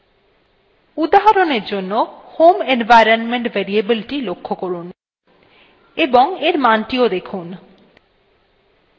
উদাহরণের জন্য: home environment variable the লক্ষ্য করুন এবং for মানthe দেখুন